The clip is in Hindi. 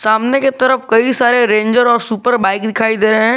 सामने के तरफ कई सारे रेंजर और सुपर बाइक दिखाई दे रहे हैं।